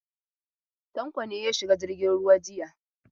Tanko ne ya shiga jirgin ruwa jiya?